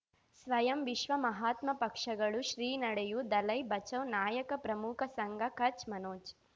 ಸ್ವಯಂ ವಿಶ್ವ ಮಹಾತ್ಮ ಪಕ್ಷಗಳು ಶ್ರೀ ನಡೆಯೂ ದಲೈ ಬಚೌ ನಾಯಕ ಪ್ರಮುಖ ಸಂಘ ಕಚ್ ಮನೋಜ್